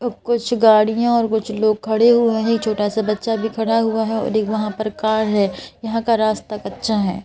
कुछ गाड़ियां और कुछ लोग खड़े हुए हैं छोटा सा बच्चा भी खड़ा हुआ है और एक वहां पर कार है यहां का रास्ता कच्चा है।